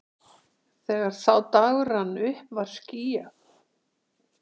Þegar sá dagur rann upp var skýjað!